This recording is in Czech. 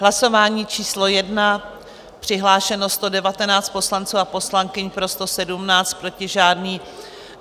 Hlasování číslo 1, přihlášeno 119 poslanců a poslankyň, pro 117, proti žádný.